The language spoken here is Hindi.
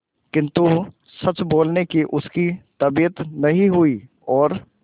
किंतु सच बोलने की उसकी तबीयत नहीं हुई और